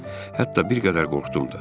Hətta bir qədər qorxdum da.